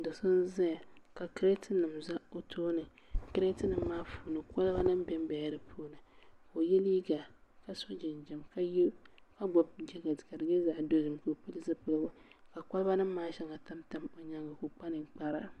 Do so n ʒɛya ka kirɛt nim ƶɛ o tooni kirɛt nim maa puuni kolba nik biɛ n biɛla di puuni ka o yɛ liiga ka so jinjɛm ka gbubi jɛkɛt ka di nyɛ zaɣ dozim ka o pili zipiligu ka kolba nim maa shɛli tamtam o nyaanga ka o kpa ninkpara